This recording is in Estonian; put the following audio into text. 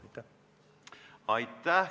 Aitäh!